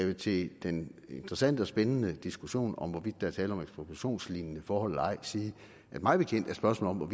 vil til den interessante og spændende diskussion om hvorvidt der er tale om ekspropriationslignende forhold eller ej sige at mig bekendt er spørgsmålet